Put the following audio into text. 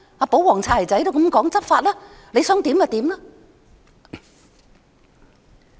"保皇"、"擦鞋仔"也是這樣說："執法吧，你想怎樣便怎樣。